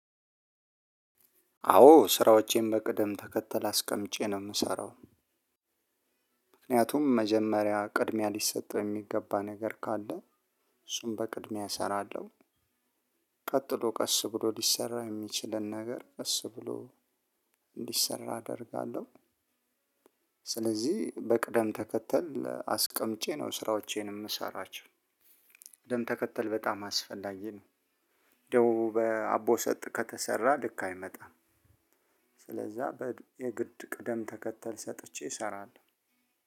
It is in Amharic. አዎ ስራዎቼን በቅደም ተከተል አስቀምጬ ነው የምሰራው። ምክንያቱም መጀመሪያ ቅድሚያ ሊሰጠው የሚገባ ነገር ካለ እሱን በቅድሚያ እሰራለሁ። ቀጥሎ ቀስ ብሎ ሊሰራ የሚችልን ነገር ቀስ ብሎ እንዲሰራ አደርጋለሁ። ስለዚህ በቅደም ተከተል አስቀምጬ ነው ስራዎቼን የምሰራቸው። ቅደም ተከተል በጣም አስፈላጊ ነው። እንደው በአቦ ሰጥ ከተሰራ ልክ አይመጣም። ስለዛ የግድ ቅደም ተከተል ሰጥቼ እሰራለሁ።